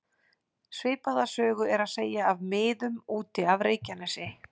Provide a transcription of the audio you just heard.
Svipaða sögu er að segja af miðum út af Reykjanesi.